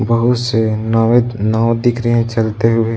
बहुत से नावत नाव दिख रहे हैं चलते हुए --